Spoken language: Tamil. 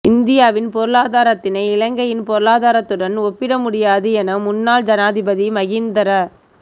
இந்தியாவின் பொருளாதாரத்தினை இலங்கையின் பொருளாதாரத்துடன் ஒப்பிடமுடியாது என முன்னாள் ஜனாதிபதி மஹிந்த ர